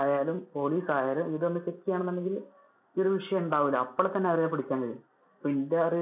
രായാലും police ആയാലും ഇതൊന്നു check ചെയുവാണെന്നുണ്ടെങ്കിൽ ഈ വിഷയം ഉണ്ടാവില്ല. അപ്പോൾ തന്നെ അത് പിടിക്കാൻ കഴിയും. അപ്പൊ എന്‍ടെ അറി~